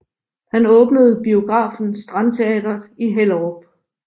Han åbnede biografen Strandteatret i Hellerup